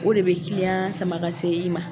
O de bɛ sama ka se i ma.